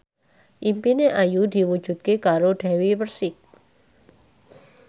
impine Ayu diwujudke karo Dewi Persik